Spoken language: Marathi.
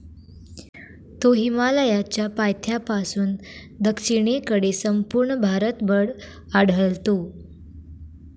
तो हिमालयाच्या पायथ्यापासून दक्षिणेकडे संपूर्ण भारतभर आढळतो.